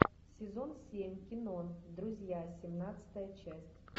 сезон семь кино друзья семнадцатая часть